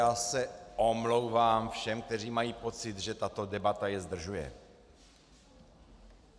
Já se omlouvám všem, kteří mají pocit, že tato debata je zdržuje.